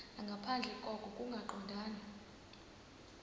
nangaphandle koko kungaqondani